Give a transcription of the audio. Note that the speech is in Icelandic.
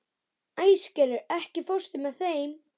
Æsgerður, ekki fórstu með þeim?